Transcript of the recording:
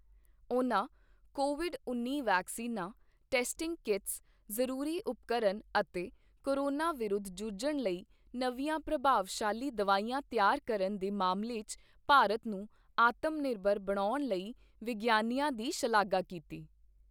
ਉਨ੍ਹਾਂ ਕੋਵਿਡ ਉੱਨੀ ਵੈਕਸੀਨਾਂ, ਟੈਸਟਿੰਗ ਕੀਟਸ, ਜ਼ਰੂਰੀ ਉਪਕਰਨ ਅਤੇ ਕੋਰੋਨਾ ਵਿਰੁੱਧ ਜੂਝਣ ਲਈ ਨਵੀਆਂ ਪ੍ਰਭਾਵਸ਼ਾਲੀ ਦਵਾਈਆਂ ਤਿਆਰ ਕਰਨ ਦੇ ਮਾਮਲੇ ਚ ਭਾਰਤ ਨੂੰ ਆਤਮ ਨਿਰਭਰ ਬਣਾਉਣ ਲਈ ਵਿਗਿਆਨੀਆਂ ਦੀ ਸ਼ਲਾਘਾ ਕੀਤੀ।